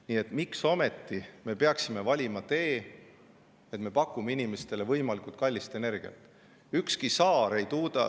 Nii et miks me ometi peaksime valima tee, et me pakume inimestele võimalikult kallist energiat?